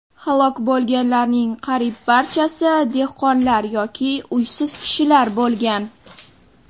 Halok bo‘lganlarning qariyb barchasi dehqonlar yoki uysiz kishilar bo‘lgan.